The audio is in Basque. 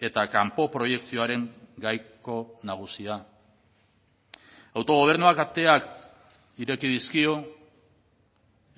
eta kanpo proiekzioaren gaiko nagusia autogobernuak ateak ireki dizkio